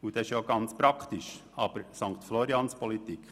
günstiger, was praktisch ist, jedoch Sankt-FloriansPolitik.